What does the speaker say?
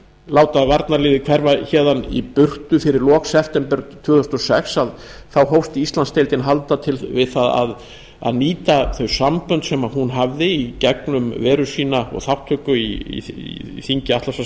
láta varnarliðið hverfa héðan í burtu fyrir lok september tvö þúsund og sex hófst íslandsdeildin handa við að nýta þau sambönd sem hún hafði í gegnum veru sína og þátttöku í þingi atlantshafsbandalagsins til þess